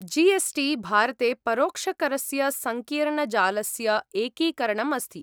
जी S T, भारते परोक्षकरस्य सङ्कीर्णजालस्य एकीकरणम् अस्ति।